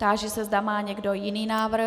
Táži se, zda má někdo jiný návrh.